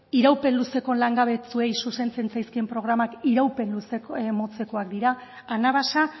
iraupen luzeko langabetuei zuzentzen zaizkien programak iraupen motzekoak dira anabasa